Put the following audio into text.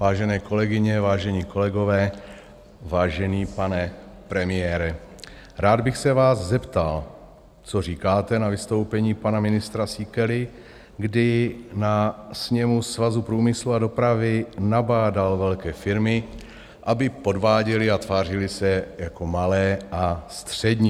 Vážené kolegyně, vážení kolegové, vážený pane premiére, rád bych se vás zeptal, co říkáte na vystoupení pana ministra Síkely, kdy na sněmu Svazu průmyslu a dopravy nabádal velké firmy, aby podváděly a tvářily se jako malé a střední.